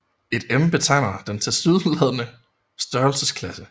Et m betegner den tilsyneladende størrelsesklasse